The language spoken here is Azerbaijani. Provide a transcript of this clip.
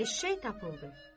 Eşək tapıldı.